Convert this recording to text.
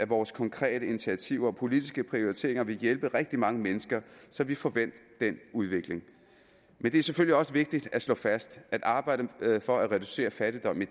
vores konkrete initiativer og politiske prioriteringer vil hjælpe rigtig mange mennesker så vi får vendt den udvikling men det er selvfølgelig også vigtigt at slå fast at arbejdet for at reducere fattigdom i